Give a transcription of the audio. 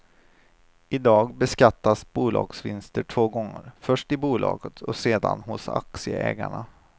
I dag beskattas bolagsvinster två gånger, först i bolaget och sedan hos aktieägaren.